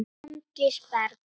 Andrés Bergs.